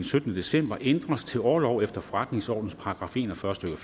syttende december ændres til orlov efter forretningsordenens § en og fyrre stykke